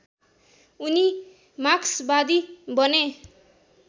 उनी मार्क्सवादी बने